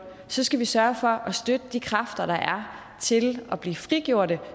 så skal vi sørge for at støtte de kræfter der er til at blive frigjorte